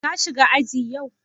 Ka shiga aji yau?